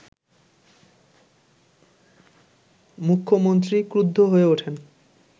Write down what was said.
মুখ্যমন্ত্রী ক্রুদ্ধ হয়ে ওঠেন